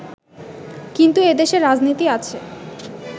কিন্তু এদেশে রাজনীতি আছে